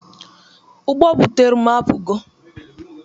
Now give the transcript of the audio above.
Ụgbo butere m apụgo.